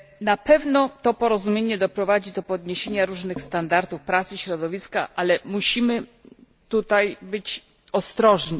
Na pewno to porozumienie doprowadzi do podniesienia różnych standardów pracy środowiska, ale musimy tutaj być ostrożni.